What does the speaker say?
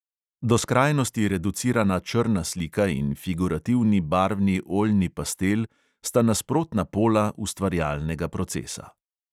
Do skrajnosti reducirana črna slika in figurativni barvni oljni pastel sta nasprotna pola ustvarjalnega procesa.